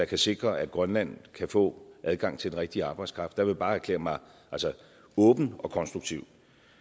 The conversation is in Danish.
kan sikre at grønland kan få adgang til den rigtige arbejdskraft vil jeg bare erklære mig åben og konstruktiv